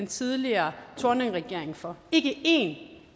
tidligere thorningregering for ikke en af